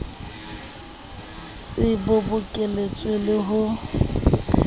se bo bokeletswe le ho